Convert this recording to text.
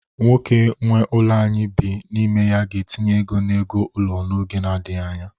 Nwoke nwe ụlọ anyị bi n'ime ya ga-etinye ego n'ego ụlọ n'oge nadịghị anya.